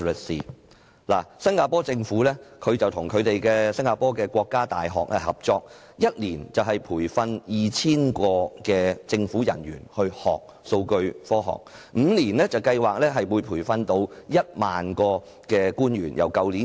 新加坡政府與新加坡國家大學合作，每年培訓 2,000 名政府人員讓其學習數據科學，預計5年內會培訓1萬名人員。